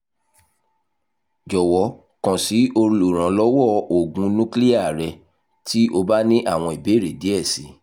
jọwọ kan si oluranlọwọ oogun nukiliya rẹ ti o ba ni awọn ibeere diẹ sii